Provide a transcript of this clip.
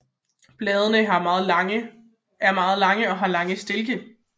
Bladene er meget lange og har lange stilke